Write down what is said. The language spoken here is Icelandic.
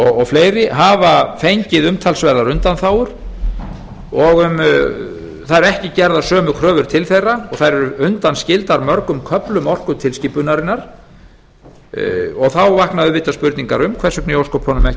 og fleiri hafa fengið umtalsverða undanþágur og það eru ekki gerðar sömu kröfur til þeirra og þær eru undanskildar mörgum köflum orkutilskipunarinnar þá vakna auðvitað spurningar um hvers vegna í ósköpunum ekki